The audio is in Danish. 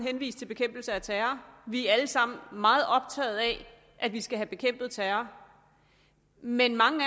henvist til bekæmpelse af terror vi er alle sammen meget optaget af at vi skal have bekæmpet terror men mange af